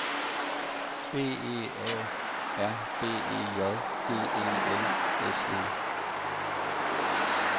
B E A R B E J D E L S E